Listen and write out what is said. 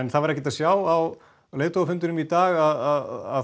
það var ekki að sjá á leiðtogafundinum í dag að